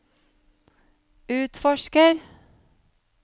utforsker